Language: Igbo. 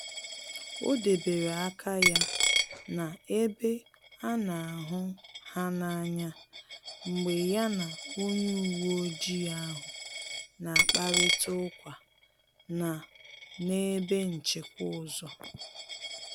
Ọ debere aka ya na-ebe a na hụ ha n’anya mgbe ya na onye uweojii ahu na-akparịta ukwa na n’ebe nchịkwa ụzọ